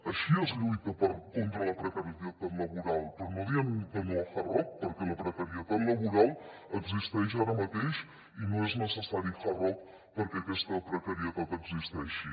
així es lluita contra la precarietat laboral però no dient que no a hard rock perquè la precarietat laboral existeix ara mateix i no és necessari hard rock perquè aquesta precarietat existeixi